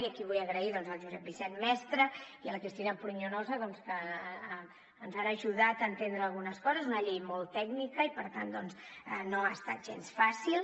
i aquí vull agrair al josep vicent mestre i a la cristina pruñonosa doncs que ens han ajudat a entendre algunes coses és una llei molt tècnica i per tant no ha estat gens fàcil